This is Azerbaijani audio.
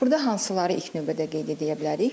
Burda hansıları ilk növbədə qeyd edə bilərik.